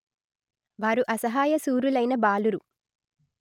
వారు అసహాయశురులైన బాలురు